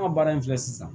An ka baara in filɛ sisan